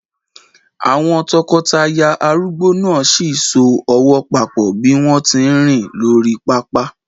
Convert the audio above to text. Àwọn tọkọtaya arúgbó náà sì ń so ọwọ́ papọ̀ bí wọ́n tí ń rìn lórí pápá.